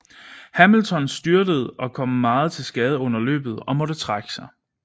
Hamilton styrtede og kom meget til skade under løbet og måtte trække sig